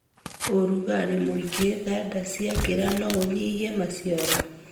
ũrugarĩ mũingĩ thanda cigĩkĩra noũnyihie maciaro.